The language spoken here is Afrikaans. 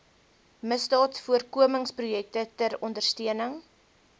misdaadvoorkomingsprojekte ter ondersteuning